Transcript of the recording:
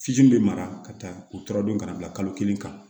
Fitiri bɛ mara ka taa u tɔrɔ don ka na bila kalo kelen kan